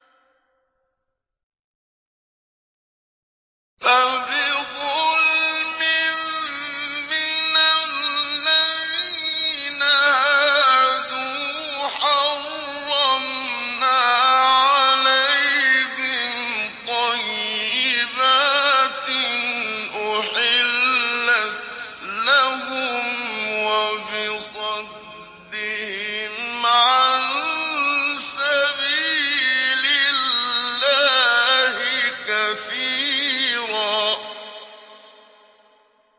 فَبِظُلْمٍ مِّنَ الَّذِينَ هَادُوا حَرَّمْنَا عَلَيْهِمْ طَيِّبَاتٍ أُحِلَّتْ لَهُمْ وَبِصَدِّهِمْ عَن سَبِيلِ اللَّهِ كَثِيرًا